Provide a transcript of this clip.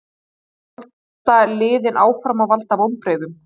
Eða halda liðin áfram að valda vonbrigðum?